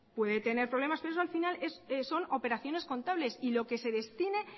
puede tener problema pero eso al final son operaciones contables y lo que se destine